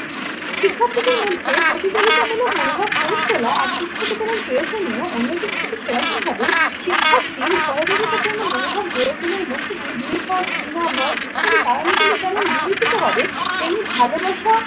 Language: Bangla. শিক্ষার্থীদের মধ্যে প্রতিযোগিতামূলক মনোভাব গড়ে তোলা একদিক থেকে যেমন প্রয়োজনীয় অন্য দিক থেকে সেরকম ভাবেই শিক্ষার্থীর সহযোগিতার জন্য মনোভাব গড়ে তোলার মধ্যে দিয়ে হিংসা, ঘৃণা, ভয় ইত্যাদি কারণগুলি যেমন দূরীভূত হবে তেমনি ভালোবাসা